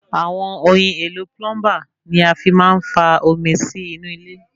Àwọn ohin èlo plumber ni a fi máa ń fa omi sí inú ilé